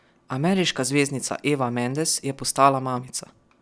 Ameriška zvezdnica Eva Mendes je postala mamica.